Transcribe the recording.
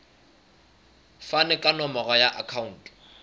fane ka nomoro ya akhauntu